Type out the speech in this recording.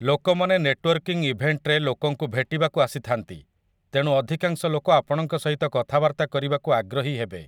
ଲୋକମାନେ ନେଟ୍ୱର୍କିଂ ଇଭେଣ୍ଟରେ ଲୋକଙ୍କୁ ଭେଟିବାକୁ ଆସିଥାନ୍ତି, ତେଣୁ ଅଧିକାଂଶ ଲୋକ ଆପଣଙ୍କ ସହିତ କଥାବାର୍ତ୍ତା କରିବାକୁ ଆଗ୍ରହୀ ହେବେ ।